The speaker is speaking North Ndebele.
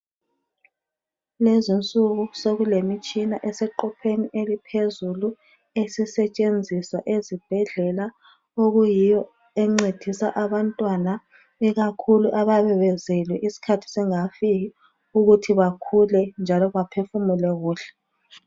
Kulezinsuku sokulemitshina eseqopheni eliphezulu esisetshenziswa ezibhedlela okuyiyo encedisa abantwana ikakhulu ababebezelwe iskhathi singakafiki ukuthi bakhule njalo baphefumule kuhle.